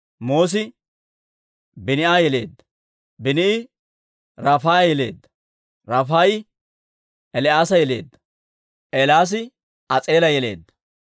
Moos'i Biini'a yeleedda; Biini'i Rafaaya yeleedda; Rafaayi El"aasa yeleedda; El"aasi As'eela yeleedda.